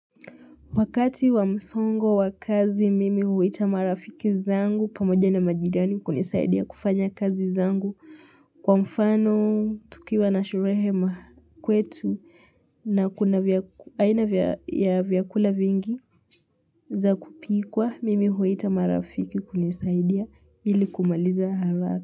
Wakati wa msongo wa kazi mimi huita marafiki zangu pamoja na majirani kunisaidia kufanya kazi zangu kwa mfano tukiwa na sherehe makwetu na kuna aina ya vyakula vingi za kupikwa mimi huita marafiki kunisaidia ili kumaliza haraka.